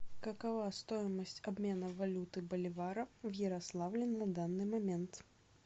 какова стоимость обмена валюты боливара в ярославле на данный момент